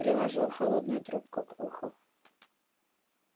приложил холодную трубку к уху